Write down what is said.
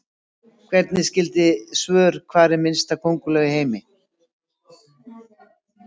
Skoðið einnig skyld svör: Hver er minnsta könguló í heimi?